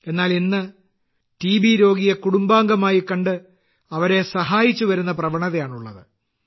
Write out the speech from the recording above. എന്നാൽ ഇന്ന് ക്ഷയരോഗിയെ കുടുംബാംഗമായി കണ്ട് അവരെ സഹായിച്ചുവരുന്ന പ്രവണതയാണുള്ളത്